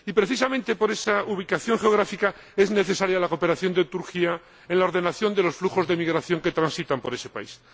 Y, precisamente por esa ubicación geográfica, es necesaria la cooperación de Turquía en la ordenación de los flujos de migración que transitan por ese país.